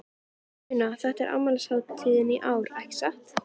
Una, þetta er afmælishátíð í ár, ekki satt?